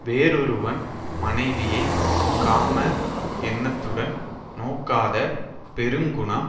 வெறொருவன் மனைவியை காம எண்ணத்துடன் நோக்காத பெருங்குணம்